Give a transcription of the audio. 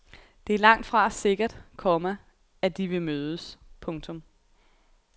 Det er langtfra sikkert, komma at de vil mødes. punktum